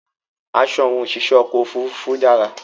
Aṣọ àwọn òṣìṣẹ́ ọkọ̀ ofúrufú dára